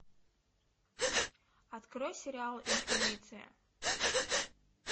открой сериал инквизиция